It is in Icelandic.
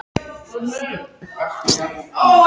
Ræningjarnir ætluðu honum að fara til Kaupmannahafnar á fund